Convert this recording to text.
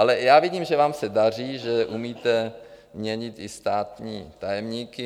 Ale já vidím, že vám se daří, že umíte měnit i státní tajemníky.